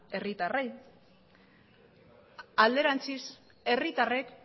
herritarrei alderantziz herritarrek